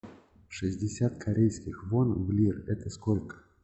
шестьдесят корейских вон в лиры это сколько